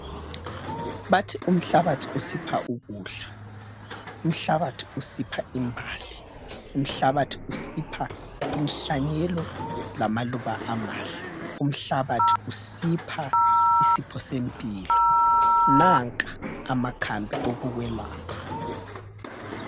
Bathi umhlabathi usipha ukudla. Umhlabathi usipha imbali. Umhlabathi usipha inhlanyelo lamaluba amahle. Umhlabathi usipha isipho sempilo. Nanka amakhambi okukwelapha.